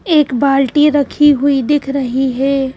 एक बाल्टी रखी हुई दिख रही हे ।